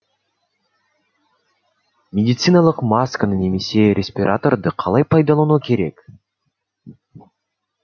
медициналық масканы немесе респираторды қалай пайдалану керек